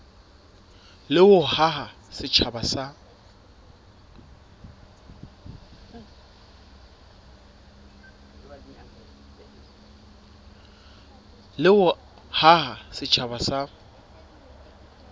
le ho haha setjhaba sa